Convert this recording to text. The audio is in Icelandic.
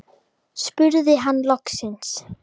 spurði hann loks.